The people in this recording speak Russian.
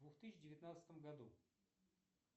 в двух тысячи девятнадцатом году